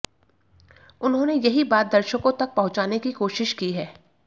उन्होंने यही बात दर्शकों तक पहुंचाने की कोशिश की है